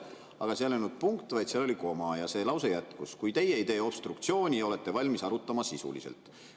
Aga seal ei olnud punkt, vaid seal oli koma ja see lause jätkus: "… kui teie ei tee obstruktsiooni ja olete valmis arutama sisuliselt.